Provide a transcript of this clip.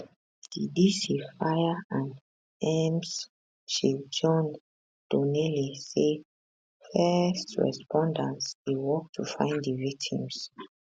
di dc fire and ems chief john donnelly say first responders dey work to find di victims